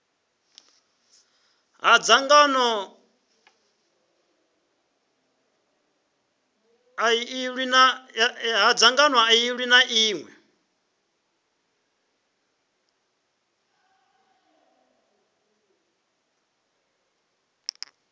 ha dzangano ḽiṅwe na ḽiṅwe